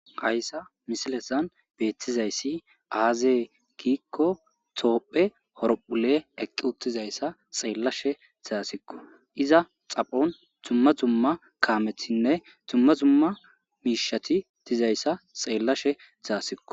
Ayssa misilesan beettizayssi aazee gikko toophphe horphule eqqi uttizayssa xeellashe zaasikko iza xaphon tumma tumma kaamethinne tumma tumma miishati utizayssa xeellashe zaasikko.